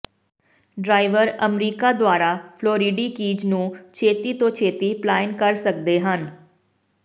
driver America ਦੁਆਰਾ Florida Keys ਨੂੰ ਛੇਤੀ ਤੋਂ ਛੇਤੀ ਪਲਾਇਨ ਕਰ ਸਕਦੇ ਹਨ